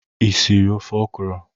Ị siri ofe okwụrụ?